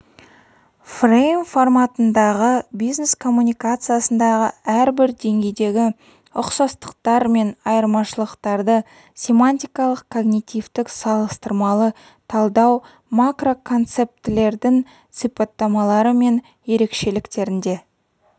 фрейм форматындағы бизнес-коммуникациядағы әрбір деңгейдегі ұқсастықтар мен айырмашылықтарды семантикалық когнитивтік салыстырмалы талдау макроконцептілердің сипаттамалары мен ерекшеліктерінде